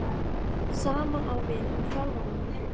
Sama á við um þjálfaramál?